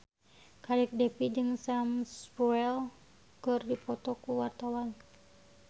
Kadek Devi jeung Sam Spruell keur dipoto ku wartawan